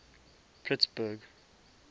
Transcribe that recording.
pittsburgh